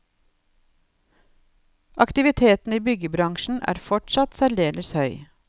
Aktiviteten i byggebransjen er fortsatt særdeles høy.